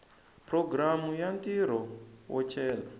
programu ya ntirho wo cela